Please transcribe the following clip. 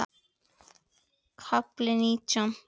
KAFLI NÍTJÁN